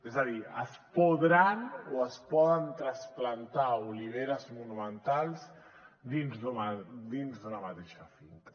és a dir es podran o es poden trasplantar oliveres monumentals dins d’una mateixa finca